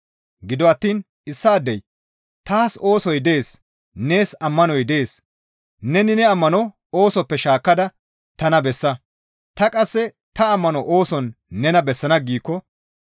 Gido attiin issaadey, «Taas oosoy dees; nees ammanoy dees; neni ne ammano oosoppe shaakkada tana bessa; ta qasse ta ammano ooson nena bessana» giikko